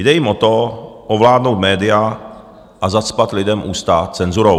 Jde jim o to, ovládnout média a zacpat lidem ústa cenzurou.